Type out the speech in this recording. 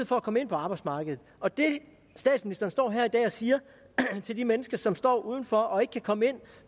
for at komme ind på arbejdsmarkedet og det statsministeren står her i dag og siger til de mennesker som står uden for og ikke kan komme ind